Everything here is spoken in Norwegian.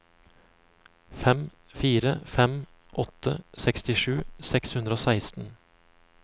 fem fire fem åtte sekstisju seks hundre og seksten